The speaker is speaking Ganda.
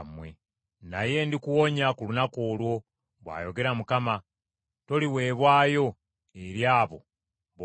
Naye ndikuwonya ku lunaku olwo,’ bw’ayogera Mukama ; ‘toliweebwayo eri abo b’otya.